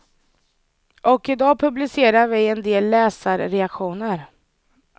Och i dag publicerar vi en del läsarreaktioner.